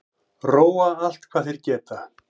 Róa allt hvað þeir geta